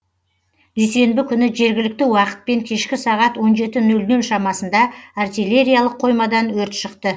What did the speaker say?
дүйсенбі күні жергілікті уақытпен кешкі сағат он жеті нөл нөл шамасында артиллериялық қоймадан өрт шықты